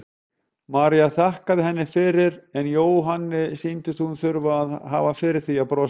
María þakkaði henni fyrir en Jóhanni sýndist hún þurfa að hafa fyrir því að brosa.